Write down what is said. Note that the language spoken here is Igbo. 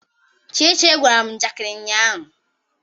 Chichi gwara m njakịrị ụnyaahụ.